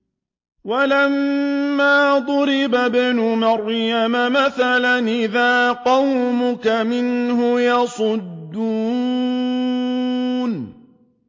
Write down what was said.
۞ وَلَمَّا ضُرِبَ ابْنُ مَرْيَمَ مَثَلًا إِذَا قَوْمُكَ مِنْهُ يَصِدُّونَ